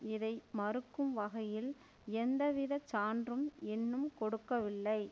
இதை மறுக்கும் வகையில் எந்த வித சான்றும் இன்னும் கொடுக்கவில்லை